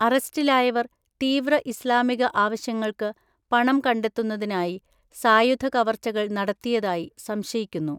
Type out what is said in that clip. അറസ്റ്റിലായവർ തീവ്ര ഇസ്ലാമിക ആവശ്യങ്ങൾക്ക് പണം കണ്ടെത്തുന്നതിനായി, സായുധ കവർച്ചകൾ നടത്തിയതായി സംശയിക്കുന്നു.